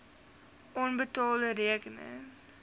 onbetaalde rekeninge